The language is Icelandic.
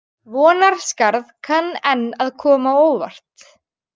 Vonarskarð kann enn að koma á óvart